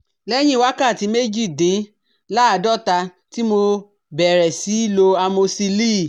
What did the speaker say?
Lẹ́yìn wákàtí méjìdínláàádọ́ta tí mo bẹ̀rẹ̀ sí í lo amosíìlì